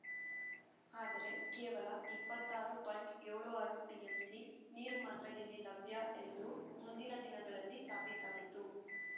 ಆದರೆ ಕೇವಲ ಇಪ್ಪತ್ತಾರು ಪಾಯಿಂಟ್ ಏಳು ಆರು ಟಿಎಂಸಿ ನೀರು ಮಾತ್ರ ಇಲ್ಲಿ ಲಭ್ಯ ಎಂದು ಮುಂದಿನ ದಿನಗಳಲ್ಲಿ ಸಾಬೀತಾಯಿತು